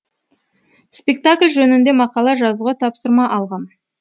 спектакль жөнінде мақала жазуға тапсырма алғам